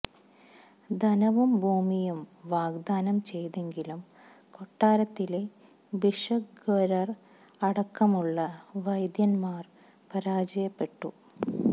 ധനവും ഭൂമിയും വാഗ്ദാനം ചെയ്തെങ്കിലും കൊട്ടാരത്തിലെ ഭിഷഗ്വരര് അടക്കമുള്ള വൈദ്യന്മാര് പരാജയപ്പെട്ടു